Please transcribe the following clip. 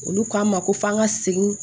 Olu k'an ma ko f'an ka segin